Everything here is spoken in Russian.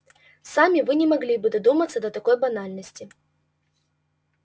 сами вы не могли бы додуматься до такой банальности